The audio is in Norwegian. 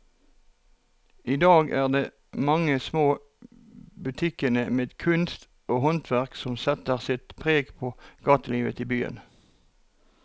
I dag er det de mange små butikkene med kunst og håndverk som setter sitt preg på gatelivet i byen.